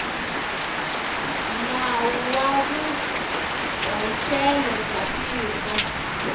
nawu wa vuhoxelo bya tiko